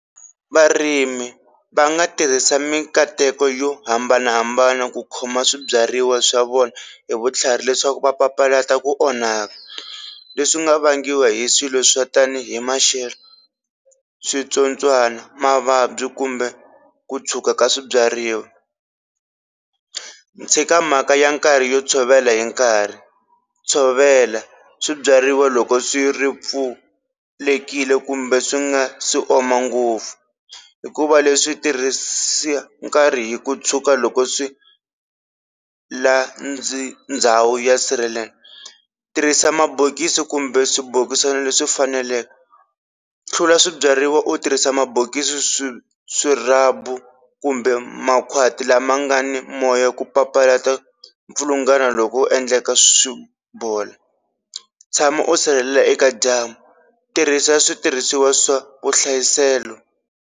Varimi va nga tirhisa mikateko yo hambanahambana ku khoma swibyariwa swa vona hi vutlhari leswaku va papalata ku onhaka leswi nga vangiwa hi swilo swa tanihi maxelo, switsotswana, mavabyi kumbe ku tshwuka ka swibyariwa, tshika mhaka ya nkarhi yo tshovela hi nkarhi tshovela swibyariwa loko swi ri pfulekile kumbe swi nga si oma ngopfu hikuva leswi tirhisa nkarhi hi ku tshuka loko swi la ndhawu ya sirhelela, tirhisa mabokisi kumbe swibokisana leswi faneleke, hlula swibyariwa u tirhisa mabokisi swi swirhabu kumbe makhwati lama nga ni moya ku papalata mpfulungano loko ku endleka swi bola, tshama u sirhelela eka dyambu tirhisa switirhisiwa swa vuhlayiselo.